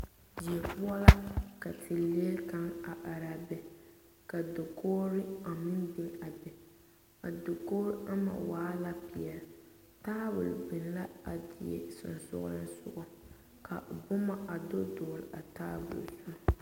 Die poɔ la ka teere kaŋa are are a be ka dakogri meŋ be a be a dakogri ama waa la peɛle tabol be la a die sensoglensoga ka o boma do dogli a tabol zu.